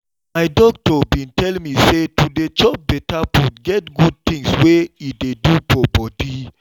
my doctor been tell me say to dey chop better food get good things wey e dey do for body